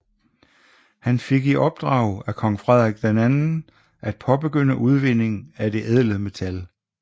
Han fik i opdrag af kong Frederik II at påbegynde udvinding af det ædle metal